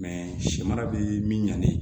si mara bi min ɲanni